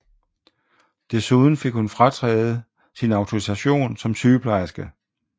Desuden fik hun frataget sin autorisation som sygeplejerske